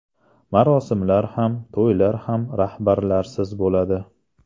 Marosimlar ham, to‘ylar ham rahbarlarsiz bo‘ladi.